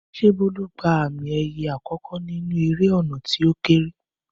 Ṣé Bólú gba àmì ẹ̀yẹ àkọ́kọ́ nínú eré ọ̀nà tí ó kééré?